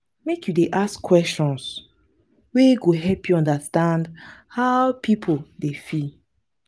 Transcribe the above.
make you dey ask questions wey go help you understand how pipo dey feel.